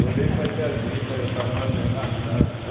Eu olhei para a tiazinha e falei, eu estava no avião da Tam.